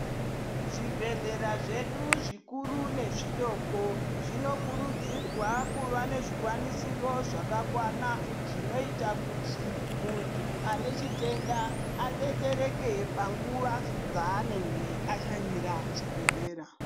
Zvibhedhlera zvedu zvikuru nezvidoko zvinokurudzirwa kuva nezvikwanisiro zvakakwana zvinoita kuti munthu ane chitenda adetsereke panguwa dzanenge ashanyira chibhedhlera.